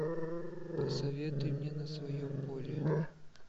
посоветуй мне на своем поле